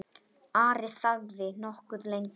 Ari þagði nokkuð lengi.